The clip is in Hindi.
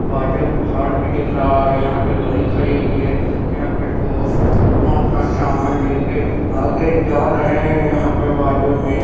आगे पहाड़ भी दिख रहा है यहां पे गाड़ी खड़ी हुई है यहां पर लोग अपना अपना सामान लेके आगे जा रहे हैं यहां पे बाजू में--